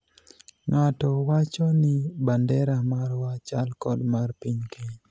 ng'ato wacho ni bandera marwa chal kod mar piny Kenya